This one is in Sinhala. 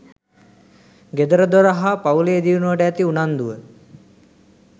ගෙදරදොර හා පවු‍ලේ දියුණුවට ඇති උන්නදුව